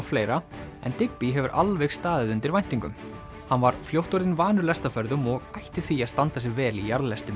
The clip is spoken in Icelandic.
fleira en Digby hefur alveg staðið undir væntingum hann var fljótt orðinn vanur lestarferðum og ætti því að standa sig vel í